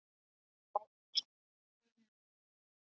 Sæll, vinur.